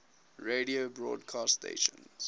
radio broadcast stations